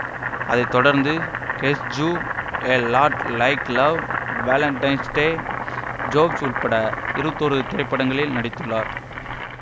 அதை தொடர்ந்து guess who a lot like love valentine's day Jobs உள்ளிட்ட இருபத்தி ஒரு திரைப்படங்களில் நடித்துள்ளார்